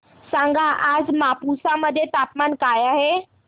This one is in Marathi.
सांगा आज मापुसा मध्ये तापमान काय आहे